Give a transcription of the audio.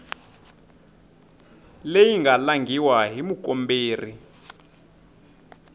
leyi nga langhiwa hi mukomberi